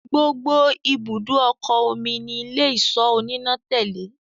gbógbó ibùdó okò omí ní Ilé-ìṣọ́ oníná tèlé.